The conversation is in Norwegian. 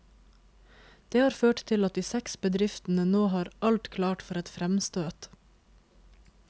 Det har ført til at de seks bedriftene nå har alt klart for et fremstøt.